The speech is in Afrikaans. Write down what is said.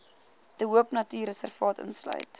de hoopnatuurreservaat insluit